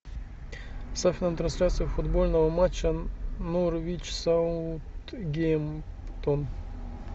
ставь нам трансляцию футбольного матча норвич саутгемптон